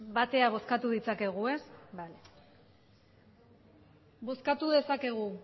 batera bozkatu ditzakegu ez bai bozkatu dezakegu